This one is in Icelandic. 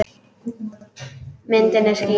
Myndin er skýr.